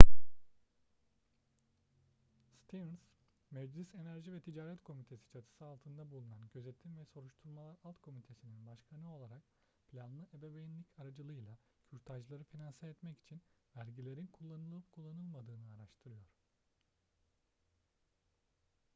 stearns meclis enerji ve ticaret komitesi çatısı altında bulunan gözetim ve soruşturmalar alt komitesi'nin başkanı olarak planlı ebeveynlik aracılığıyla kürtajları finanse etmek için vergilerin kullanılıp kullanılmadığını araştırıyor